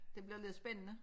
Det bliver lidt spændende